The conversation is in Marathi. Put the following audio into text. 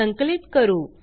संकलित करू